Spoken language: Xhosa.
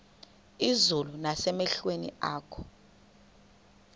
izulu nasemehlweni akho